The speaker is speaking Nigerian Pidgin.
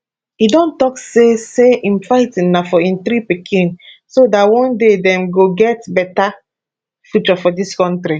e don tok say say im fighting na for im three pikin so dat one day dem go get bata future for dis kontri